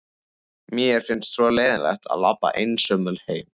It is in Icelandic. Mér finnst svo leiðinlegt að labba einsömul heim.